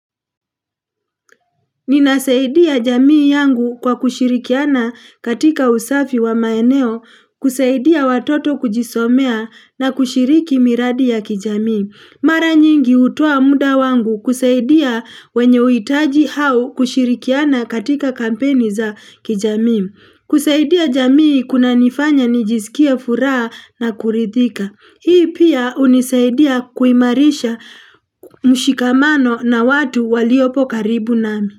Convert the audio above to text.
Ninasaidia jamii yangu kwa kushirikiana katika usafi wa maeneo, kusaidia watoto kujisomea na kushiriki miradi ya kijamii. Mara nyingi utoa muda wangu kusaidia wenye uitaji hau kushirikiana katika kampeni za kijamii. Kusaidia jamii kuna nifanya nijisikie furaha na kurithika. Hii pia unisaidia kuimarisha mshikamano na watu waliopo karibu nami.